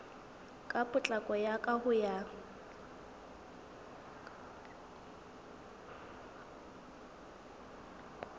ka potlako ka ho ya